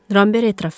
Ramber etiraf etdi.